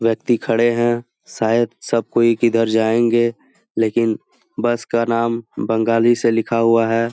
व्यक्ति खड़े है शायद सब कोई किधर जाएंगे लेकिन बस का नाम बंगाली से लिखा हुआ हैं।